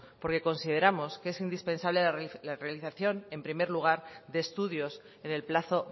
porque consideramos que es indispensable la realización en primer lugar de estudios en el plazo